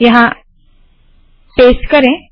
यहाँ पेस्ट करे